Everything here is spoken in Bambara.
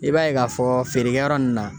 I b'a ye ka fɔ feerekɛ yɔrɔ nunnu na